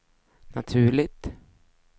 naturligt